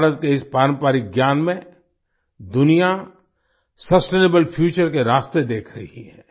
भारत के इस पारंपरिक ज्ञान में दुनिया सस्टेनेबल फ्यूचर के रास्ते देख रही है